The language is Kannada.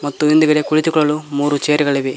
ಮತ್ತು ಹಿಂದುಗಡೆ ಕುಳಿತುಕೊಳ್ಳಲು ಮೂರು ಚೇರುಗಳಿವೆ.